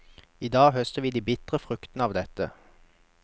Idag høster vi de bitre fruktene av dette.